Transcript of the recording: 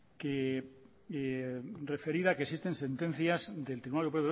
que referida que existen sentencias del tribunal